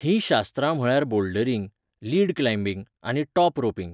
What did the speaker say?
ही शास्त्रां म्हळ्यार bouldering, lead climbing आनी टॉप रोपिंग.